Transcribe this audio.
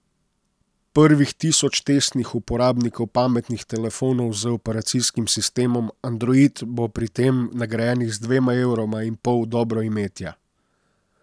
Prvih tisoč testnih uporabnikov pametnih telefonov z operacijskim sistemom Android bo pri tem nagrajenih z dvema evroma in pol dobroimetja.